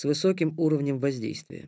с высоким уровнем воздействия